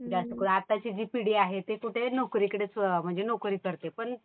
जास्तकरून आताची जी पिढी ती कुठे आहे? तर नोकरीकडेच म्हणजे नोकरी करते.